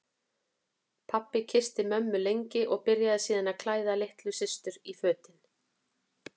Pabbi kyssti mömmu lengi og byrjaði síðan að klæða litlu systur í fötin.